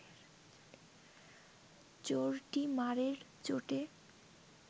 চোরটি মারের চোটে